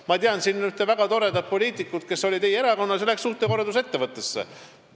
Ma tean ühte väga toredat poliitikut, kes oli teie erakonnas ja läks suhtekorraldusettevõttesse tööle.